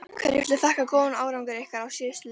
Hverju viltu þakka góðan árangur ykkar á síðustu leiktíð?